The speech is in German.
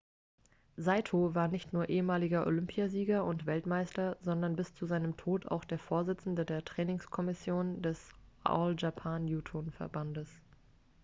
saito war nicht nur ehemaliger olympiasieger und weltmeister sondern bis zu seinem tod auch der vorsitzende der trainingskommission des all japan judoverbandes